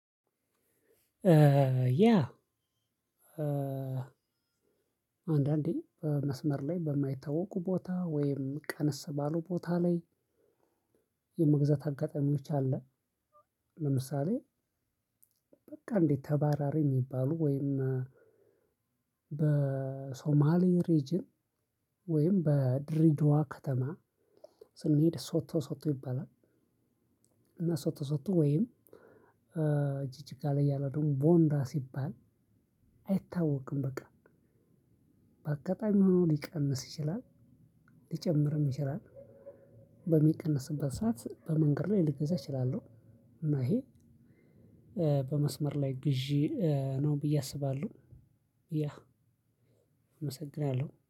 ያ አንዳንዴ በመስመር ላይ በማይታወቁ ቦታ ወይም ቀንስ ባሉ ቦታ ላይ የመግዛት አጋጣሚዎች አለ። ለምሳሌ በቃ እንዴት ተባራሪ የሚባሉ ወይም በሶማሊ ሪጅን ወይም በድሪደዋ ከተማ ስንሄድ ሶቶ ሶቶ ይባላል። እና ሶቶ ሶቶ ወይም ጂጂጋ ላይ ያለ ደግሞ ቦንዳ ሲባል አይታወቅም። በቃ በአጋጣሚ ሆኖ ሊቀንስ ይችላል ሊጨምርም ይችላል። በሚቀንስበት ሰዓት በመንገድ ላይ ልገዛ እችላለሁ። እና ይሄ በመስመር ላይ ግዢ ነው ብዬ አስባለሁ። ያ እመሰግናለሁ